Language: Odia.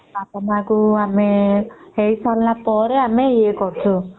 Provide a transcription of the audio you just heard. ହେଇ ସରିଲା ଆମେ ଏ କରୁଛୁ